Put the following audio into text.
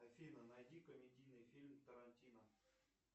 афина найди комедийный фильм тарантино